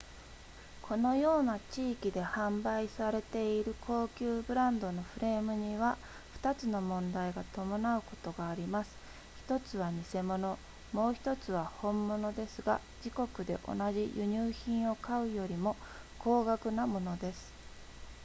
このような地域で販売されている高級ブランドのフレームには2つの問題が伴うことがあります1つは偽物もう1つは本物ですが自国で同じ輸入品を買うよりも高額なものです